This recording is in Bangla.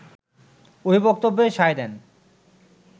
ওই বক্তব্যে সায় দেন